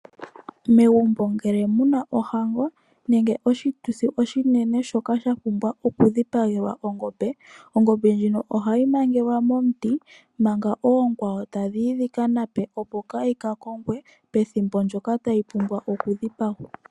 Megumbo ngele muna oshituthi oshinene nenge ohango oha mu dhipagwa ongombe. Ongombe ndyoka ohayi mangelwa